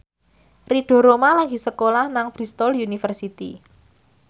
Ridho Roma lagi sekolah nang Bristol university